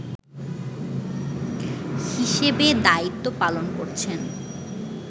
হিসেবে দায়িত্ব পালন করছেন